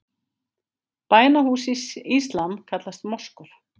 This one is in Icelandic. Bænahús í íslam kallast moskur.